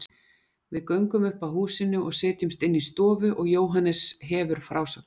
Við göngum upp að húsinu og setjumst inn í stofu og Jóhannes hefur frásögnina.